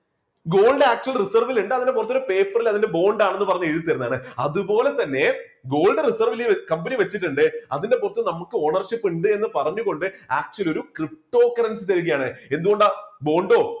gold actual reserve ലുണ്ട് അതിൻറെ പേപ്പറിൽ അതിന്റെ bond ആണെന്ന് പറഞ്ഞു എഴുതിത്തരുന്നതാണ് അതുപോലെതന്നെ gold reserve വിലെ കമ്പനി വച്ചിട്ടുണ്ട് അതിന്റെ പുറത്ത് നമുക്ക് ownership ഇണ്ട് എന്ന് പറഞ്ഞുകൊണ്ട് actual ഒരു ptocurrency തരികയാണ്. എന്തുകൊണ്ടാ bond ഓ